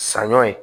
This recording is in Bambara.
Saɲɔ ye